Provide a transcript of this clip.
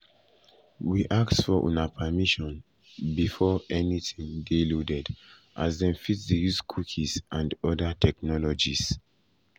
we ask for um una permission before permission before anytin dey loaded as dem fit dey use cookies and oda um technologies.